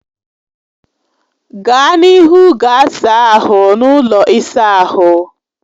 Gaa n'ihu gaa saa ahụ n'ụlọ ịsa ahụ